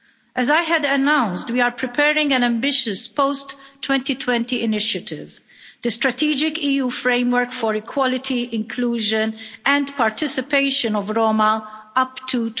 As I had announced, we are preparing an ambitious post-2020 initiative the strategic EU framework for equality, inclusion and participation of Roma up